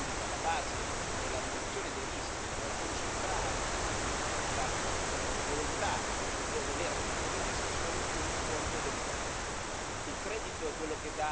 E l'errore più grande, che è alla base della riduzione dei rischi, è concentrare la volontà di voler ridurre i rischi solo sul fronte del credito.